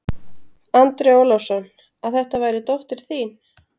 Andri Ólafsson: Að þetta væri dóttir þín?